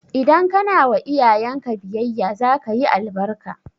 Idan kana wa iyayen ka biyayya za ka yi albarka